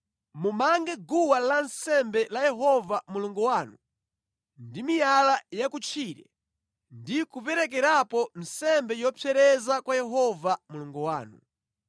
Mumange guwa lansembe la Yehova Mulungu wanu ndi miyala yakutchire ndi kuperekerapo nsembe yopsereza kwa Yehova Mulungu wanu.